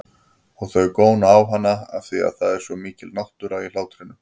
Og þau góna á hana afþvíað það er svo mikil náttúra í hlátrinum.